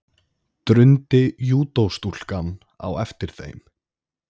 drundi júdóstúlkan á eftir þeim.